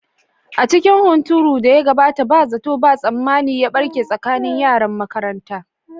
A cikin hunturun da ya gabata, ba zato ba tsammani ya barke tsakanin yaran makaranta.